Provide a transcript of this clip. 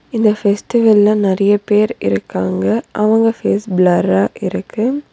இந்த ஃபெஸ்டிவல்ல நெறைய பேர் இருக்காங்க அவங்க ஃபேஸ் பிளர்ரா இருக்கு.